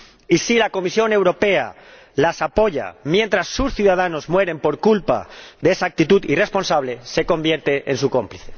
Y, si la Comisión Europea las apoya mientras sus ciudadanos mueren por culpa de esa actitud irresponsable, se convierte en su cómplice.